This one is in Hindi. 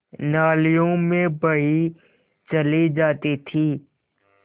नालियों में बही चली जाती थी